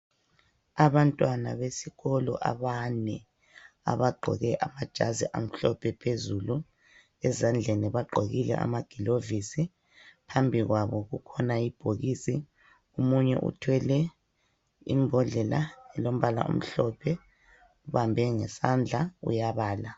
Abantwana besikolo abane abagqoke amajazi amhlophe phezulu, ezandleni bagqokile amagilovisi, phambi kwabo kukhona ibhokisi. Omunye uthwele imbhodlela elombala omhlophe, uyibambe ngesandla uyabala.